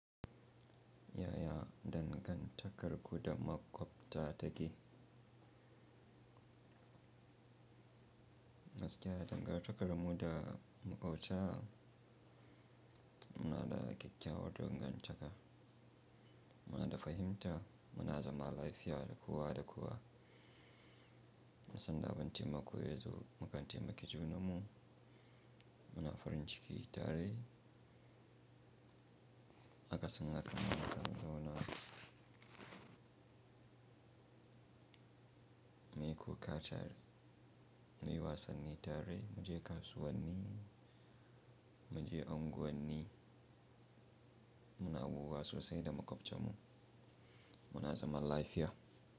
Yaya dangantakar ku da maƙwabta ta ke? Gaskiya, dangantakar mu da maƙwabta muna da ƙyakkyawar dangantaka. Muna da fahimta, muna zama lafiya da kowa da kowa. Sanda abun taimako yazo, mukan taimaki junan mu. Muna farin ciki tare. Akasin haka, mu kan zauna mu yi kuka tare, muyi wasanni tare, mu je kasuwanni, mu je unguwanni. Muna abubuwa sosai da maƙwabcen mu. Muna zaman lafiya.